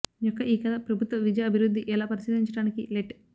యొక్క ఈ కథ ప్రభుత్వ విద్య అభివృద్ధి ఎలా పరిశీలించడానికి లెట్